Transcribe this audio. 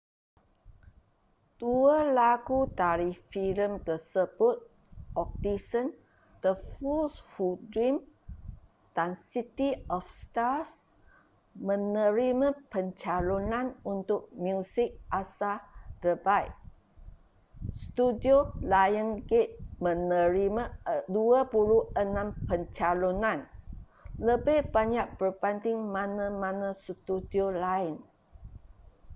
dua lagu dari filem tersebut audition the fools who dream dan city of stars menerima pencalonan untuk muzik asal terbaik. studio lionsgate menerima 26 pencalonan — lebih banyak berbanding mana-mana studio lain